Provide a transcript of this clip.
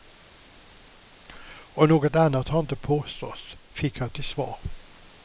Och något annat har inte påståtts, fick jag till svar.